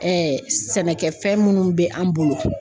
sɛnɛkɛfɛn munnu be an bolo